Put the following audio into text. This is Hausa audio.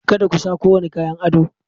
Kada ku sa kowane kayan ado!